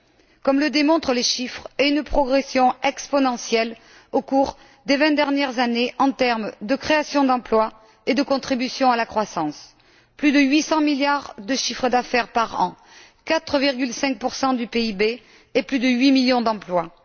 C'est ce que démontrent les chiffres et la progression exponentielle, au cours des vingt dernières années, en termes de création d'emplois et de contribution à la croissance plus de 800 milliards de chiffre d'affaires par an, 4,5 du PIB et plus de 8 millions d'emplois.